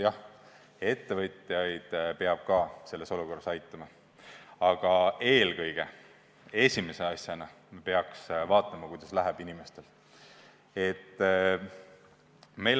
Jah, ka ettevõtjaid peab selles olukorras aitama, aga eelkõige, esimese asjana me peaks vaatama, kuidas läheb inimestel.